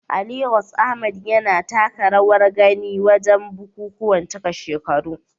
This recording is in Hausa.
A Legas, Ahmad yana taka rawar gani wajen bukukuwan cika shekaru.